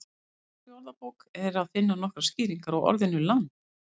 Í Íslenskri orðabók er að finna nokkrar skýringar á orðinu land.